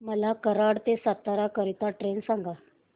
मला कराड ते सातारा करीता ट्रेन सांगा